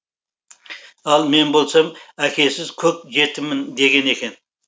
ал мен болсам әкесіз көк жетіммін деген екен